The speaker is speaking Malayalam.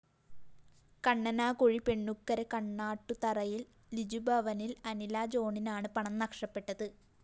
കണ്ണനാകുഴി പെണ്ണുക്കര കണ്ണാട്ടുതറയില്‍ ലിജുഭവനില്‍ അനിലാ ജോണിനാണ് പണം നഷ്ടപ്പെട്ടത്